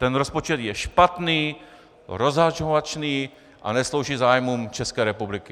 Ten rozpočet je špatný, rozhazovačný a neslouží zájmům České republiky.